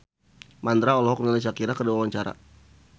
Mandra olohok ningali Shakira keur diwawancara